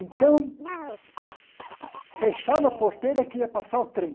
Então, fechava a porteira que ia passar o trem.